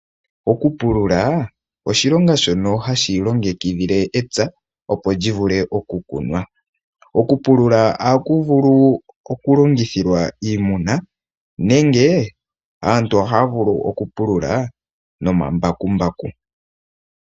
Oku pulula oshilonga shono hashi longekidhile epya opo lyi vule oku kunwa. Oku pulula ohaku vulu oku longithilwa iimuna nenge aantu ohaya vulu oku pulula nomambakumbaku.